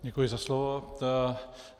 Děkuji za slovo.